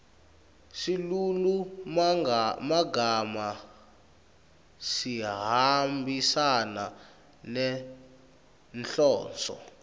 silulumagama sihambisana nenhloso